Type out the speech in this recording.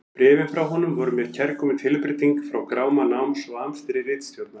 Bréfin frá honum voru mér kærkomin tilbreyting frá gráma náms og amstri ritstjórnar.